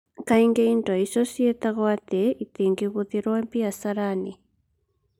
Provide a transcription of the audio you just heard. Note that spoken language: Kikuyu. Kaingĩ indo icio ciĩtagwo atĩ itingĩhũthĩrũo biacara-inĩ.